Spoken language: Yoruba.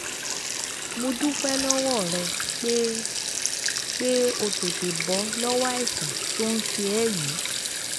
Mo dúpẹ́ lọ́wọ́ rẹ pé pé o tètè bọ́ lọ́wọ́ àìsàn tó ń ṣe ẹ́ yìí